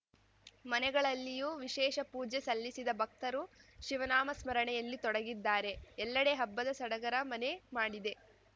ಮನೆಗಳಲ್ಲಿಯೂ ವಿಶೇಷ ಪೂಜೆ ಸಲ್ಲಿಸಿದ ಭಕ್ತರು ಶಿವನಾಮ ಸ್ಮರಣೆಯಲ್ಲಿ ತೊಡಗಿದ್ದಾರೆ ಎಲ್ಲೆಡೆ ಹಬ್ಬದ ಸಡಗರ ಮನೆ ಮಾಡಿದೆ